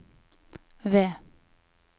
V